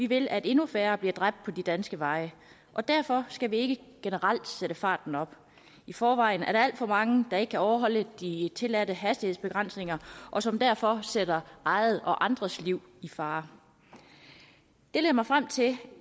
vil at endnu færre bliver dræbt på de danske veje og derfor skal vi ikke generelt sætte farten op i forvejen er der alt for mange der ikke kan overholde de tilladte hastighedsbegrænsninger og som derfor sætter eget og andres liv i fare det leder mig frem til